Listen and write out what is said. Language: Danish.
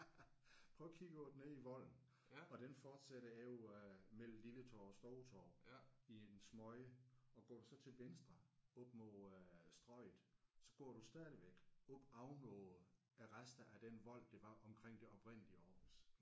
Prøv at kigge på det nede i Volden og den fortsætter indover mellem Lilletorv og Storetorv i en smøge og går du så til venstre op mod øh Strøget så går du stadigvæk oppe ovenover resterne af den vold der var omkring det oprindelige Aarhus